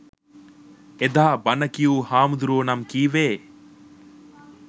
එදා බණ කියූ හාමුදුරුවෝ නම් කීවේ